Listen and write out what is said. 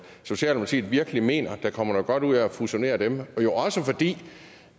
socialdemokratiet virkelig mener at der kommer noget godt ud af fusionerer dem også fordi